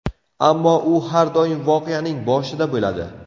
Ammo, u har doim voqeaning boshida bo‘ladi.